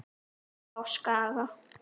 Upp á Skaga?